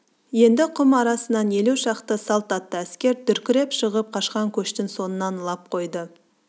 енді құм арасынан елу шақты салт атты әскер дүркіреп шығып қашқан көштің соңынан лап қойды